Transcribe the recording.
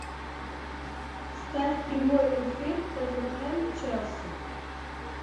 ставь прямой эфир тоттенхэм челси